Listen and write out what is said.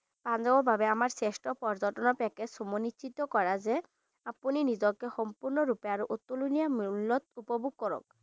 পাঞ্জাৱৰ বাবে আমাৰ শ্ৰেষ্ঠ পৰ্যটনৰ package সমোনিশ্চিত কৰা যে আপুনি নিজকে সম্পুৰ্ন্ন ৰূপে আৰু অতুলনীয়া মূল্যত উপভোগ কৰক।